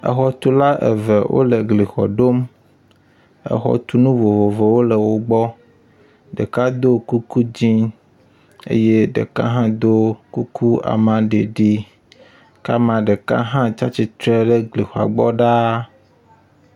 Exɔtula eve wo le glixɔ ɖom. Exɔtunu vovovowo le wo gbɔ. Ɖeka do kuku dzi eye ɖeka hã do kuku amaɖiɖi ke amea ɖeka hã tsi atsitre ɖe glixɔ gbɔ ɖaa.